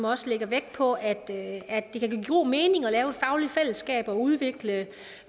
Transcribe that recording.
også lægger vægt på at det kan give god mening at lave et fagligt fællesskab og udvikle